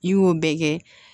I y'o bɛɛ kɛ